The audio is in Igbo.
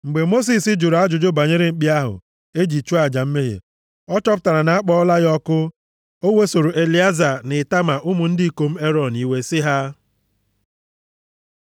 Mgbe Mosis jụrụ ajụjụ banyere mkpi ahụ e ji chụọ aja mmehie, ọ chọpụtara na a kpọọla ya ọkụ. O wesoro Elieza na Itama ụmụ ndị ikom Erọn iwe sị ha,